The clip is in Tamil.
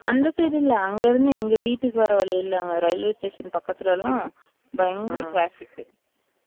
அந்த side இல்ல அங்க இருந்து எங்க வீட்டுக்கு வர்ற வழில அந்த railway station பக்கதுளலாம் பயன்குற traffic